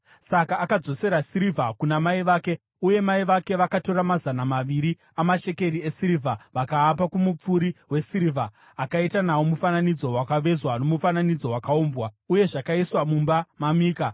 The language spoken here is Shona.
Saka akadzosera sirivha kuna mai vake, uye mai vake vakatora mazana maviri amashekeri esirivha vakaapa kumupfuri wesirivha, akaita nawo mufananidzo wakavezwa nomufananidzo wakaumbwa. Uye zvakaiswa mumba maMika.